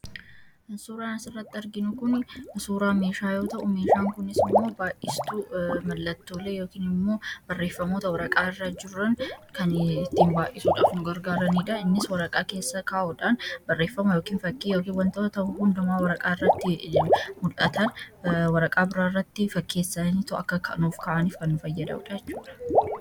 Kan suuraa irratti arginu kun suuraa meeshaa yoo ta uu meeshaan kunis immoo baa'istuu mallattoolee yookiin immoo barreeffamoota waraqaa irra jiran kan ittiin baa'isuudhaaf nu gargaaraniidha. Innis waraqaa keessaa kaa'uudhaan barreeffama yookiin fakkii yookiin wantoota ta'uu hundumaa waraqaa irratti mul'atan waraqaa biraa irratti fakkeessaniito akka nuuf ka'aaniif kan nu fayyaduudha jechuudha.